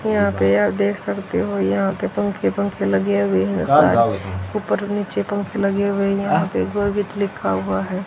यहां पे आप देख सकते हो यहां पे यहां पंखे-पंखे लगे हुए हैं। ऊपर नीचे पंखे लगे हुए है यहां पे लिखा हुआ है।